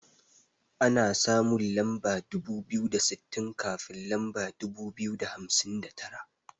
Ana samun lamba dubu biyu da sittin kafin lamba dubu biyu da hamsin da tara.